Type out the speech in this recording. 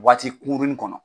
Waati kunkurunnin kɔnɔ.